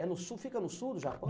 É no sul, fica no sul do Japão?